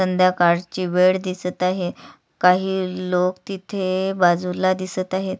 संध्याकाळची वेळ दिसत आहे काही लोक तिथे बाजूला दिसत आहेत.